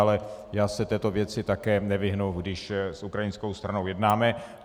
Ale já se této věci také nevyhnu, když s ukrajinskou stranou jednáme.